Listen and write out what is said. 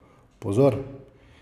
Pozor!